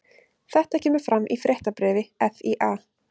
Þetta kemur fram í fréttabréfi FÍA